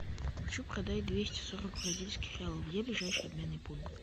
хочу продать двести сорок бразильских реалов где ближайший обменный пункт